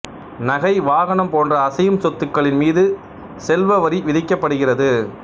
நகை வாகனம் போன்ற அசையும் சொத்துக்களின் மீது செல்வ வரி விதிக்கப்படுகிறது